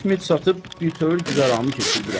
Çit-mit satıb bütöv güzəranımı keçirdirəm.